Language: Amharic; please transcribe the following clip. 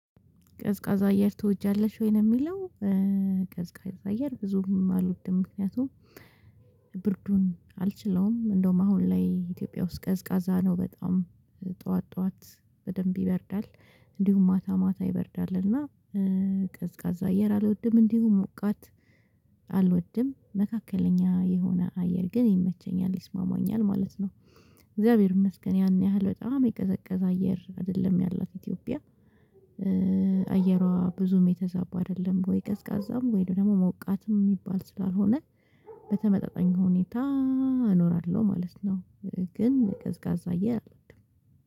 ቀዝቃዛ አየር ትወጃለሽ ወይ? ነው የሚለው ቀዝቃዛ አየር ብዙም አልወድም፤ ምክንያቱም ብርዱን አልችለውም እንደውም አሁን ላይ ኢትዮጵያ ውስጥ ቀዝቃዛ ነው በጣም ጠዋት ጠዋት በደንብ ይበርዳል እንዲሁም ማታ ማታ ይበርዳልና ቀዝቃዛ አየር አልወድም እንዲሁም ሞቃት አልወድም መካከለኛ የሆነ አየር ግን ይመቸኛል ይስማማኛል ማለት ነው። እግዚአብሔር ይመስገን ያን ያህል በጣም የቀዘቀዘ አየር አይደለም ያላት ኢትዮጵያ አየሯ ብዙም የተዛባ አይደለም ወይ ቀዝቃዛም ወይ ደግሞ ሞቃትም የሚባል ስላልሆነ በተመጠጣኝ ሁኔታ እኖራለሁ ማለት ነው ግን ቀዝቃዛ አየር አልወድም።